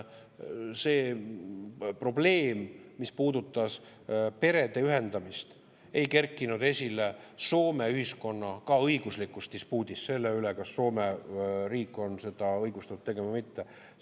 See probleem, mis puudutab perede ühendamist, ei kerkinud esile Soome ühiskonna õiguslikus dispuudis selle üle, kas Soome riik on seda õigustatud tegema või mitte.